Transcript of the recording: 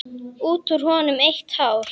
Út úr honum eitt hár.